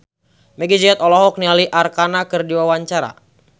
Meggie Z olohok ningali Arkarna keur diwawancara